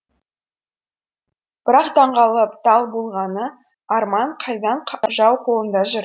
бірақ таңғалып дал болғаны арман қайдан жау қолында жүр